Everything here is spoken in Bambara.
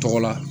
Tɔgɔ la